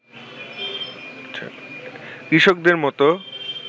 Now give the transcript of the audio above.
কৃষকদের মতো